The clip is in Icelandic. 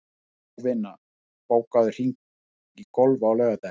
Jovina, bókaðu hring í golf á laugardaginn.